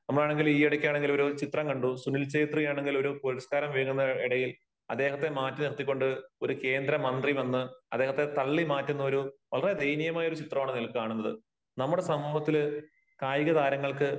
നമ്മളാണെങ്കിൽ ഈ ഇടയ്ക്ക് ആണെങ്കിൽ ഒരു ചിത്രം കണ്ടു. സുനിൽ ഛേത്രിയാണെങ്കിൽ ഒരു പുരസ്കാരം വാങ്ങുന്നതിനിടയിൽ അദ്ദേഹത്തെ മാറ്റി നിർത്തിക്കൊണ്ട് ഒരു കേന്ദ്ര മന്ത്രി വന്ന് അദ്ദേഹത്തെ തള്ളി മാറ്റുന്ന ഒരു വളരെ ദയനീയമായ ഒരു ചിത്രമാണ് അതിൽ കാണുന്നത്. നമ്മുടെ സമൂഹത്തില് കായിക താരങ്ങൾക്ക്